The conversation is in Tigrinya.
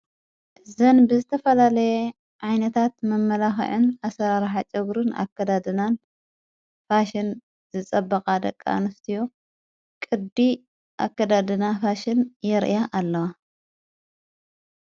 ዘን ብዝተፈላለየ ዓይነታት መመላኸዑን ኣሠራርሓ ጨጕሩን ኣከዳድናን ፋሽን ዝጸበቓ ደቃ ንፍቲዮ ቕዲ ኣከዳድና ፋሽን የርእያ ኣለዋ።